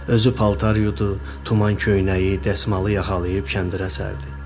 Özü paltar yudu, tuman-köynəyi, dəsmalı yaxalayıb kəndirə sərdi.